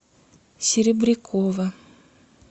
серебрякова